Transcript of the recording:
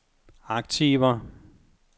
aktiver